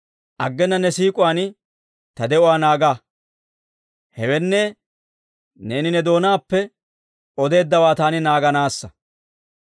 Aggena ne siik'uwaan ta de'uwaa naaga; hewenne, neeni ne doonaappe odeeddawaa taani naaganaassa.